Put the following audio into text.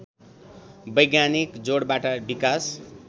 वैज्ञानिक जोडबाट विकास